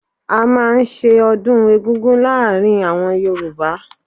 A máa ń ṣe ọdún eggúngún láàárín àwọn Yorùbá.